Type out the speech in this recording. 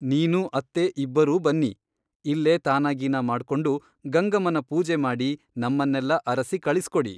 ನೀನೂ ಅತ್ತೇ ಇಬ್ಬರೂ ಬನ್ನಿ ಇಲ್ಲೇ ತಾನಾಗೀನಾ ಮಾಡ್ಕೊಂಡು ಗಂಗಮ್ಮನ ಪೂಜೆ ಮಾಡಿ ನಮ್ಮನ್ನೆಲ್ಲಾ ಅರಸಿ ಕಳಿಸಿಕೊಡಿ.